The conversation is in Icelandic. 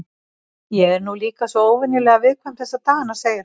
Ég er nú líka svo óvenjulega viðkvæm þessa dagana, segir hún.